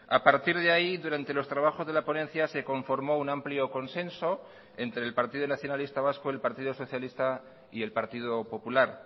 a partir de ahí durante los trabajos de la ponencia se conformó un amplio consenso entre el partido nacionalista vasco y el partido socialista y el partido popular